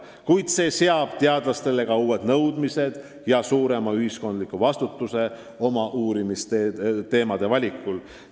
Kuid see seab teadlastele ka uued nõudmised ja suurema ühiskondliku vastutuse oma uurimisteemade valikul.